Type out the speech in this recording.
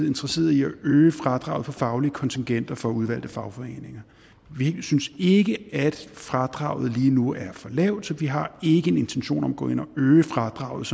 interesseret i at øge fradraget for faglige kontingenter for udvalgte fagforeninger vi synes ikke at fradraget lige nu er for lavt så vi har ikke en intention om at gå ind og øge fradraget